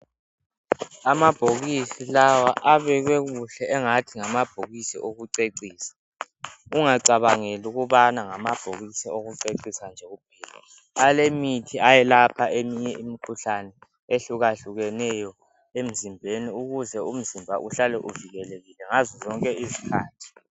Amabhokisi lawa abekwe kuhle engathi ngamabhokisi awokucecisa. Ungacabangeli ukubana ngamabhokisi awokucecisa nje kuphela . Alemithi eyelaphe eminye imikhuhlane ehlukahlukeneyo emzimbeni ukuze umzimba uhlale uvikelekile ngazo zonke izikhathi.